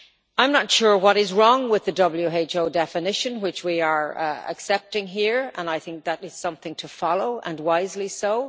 I am not sure what is wrong with the World Health Organisation definition, which we are accepting here, and I think that is something to follow, and wisely so.